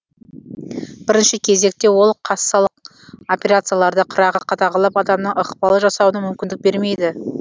бірінші кезекте ол кассалық операцияларды қырағы қадағалап адамның ықпал жасауына мүмкіндік бермейді